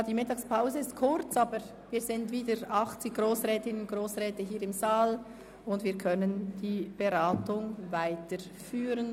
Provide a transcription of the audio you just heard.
Ja, die Mittagspause war kurz, aber wir sind wieder 80 Grossrätinnen und Grossräte hier im Saal und können die Beratungen weiterführen.